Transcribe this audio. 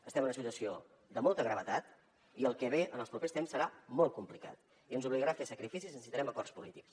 estem en una situació de molta gravetat i el que ve en els propers temps serà molt complicat i ens obligarà a fer sacrificis i necessitarem acords polítics